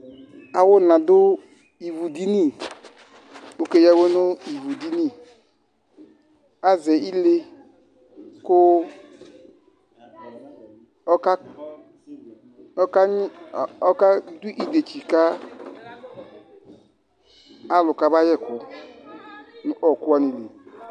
Awuna dù ivudiní k'aka eya awɛ nú ivudiní, azɛ ilé ku ɔkakpõ ɔka dù idetsi ka alu kɔba yekù n'ɔ̃kuwa ni li